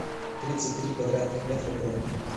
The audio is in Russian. тридцать три квадратных метра бронь